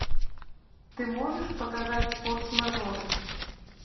ты можешь показать форс мажоры